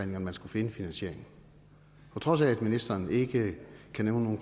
man skulle finde finansieringen på trods af at ministeren ikke kan nævne nogen